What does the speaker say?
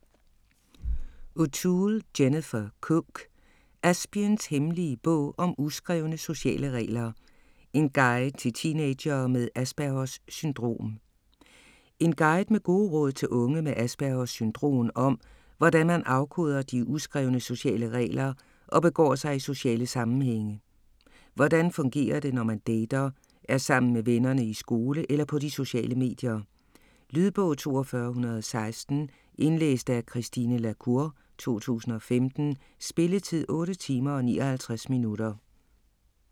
O'Toole, Jennifer Cook: Aspiens hemmelige bog om uskrevne sociale regler: en guide til teenagere med Aspergers syndrom En guide med gode råd til unge med Aspergers syndrom om hvordan man afkoder de uskrevne sociale regler og begår sig i sociale sammenhænge. Hvordan fungerer det, når man dater, er sammen med vennerne, i skole eller på de sociale medier? Lydbog 42116 Indlæst af Christine la Cour, 2015. Spilletid: 8 timer, 59 minutter.